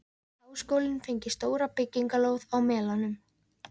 Háskólinn fengi stóra byggingarlóð á Melunum.